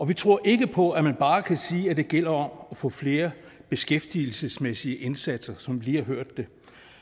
vi tror ikke på at man bare kan sige at det gælder om at få flere beskæftigelsesmæssige indsatser som vi lige har hørt det